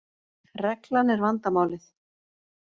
Reglan er vandamálið.